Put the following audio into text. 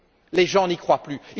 Les gens n'y croient plus!